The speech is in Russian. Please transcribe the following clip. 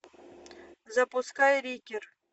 запускай рикер